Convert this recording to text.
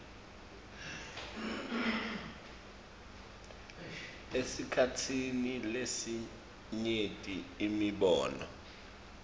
esikhatsini lesinyenti imibono